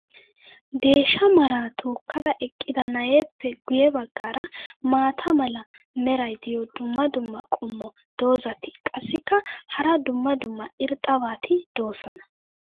deeshsha maraa tookkada eqqida na'eeppe guye bagaara maata mala meray diyo dumma dumma qommo dozzati qassikka hara dumma dumma irxxabati doosona.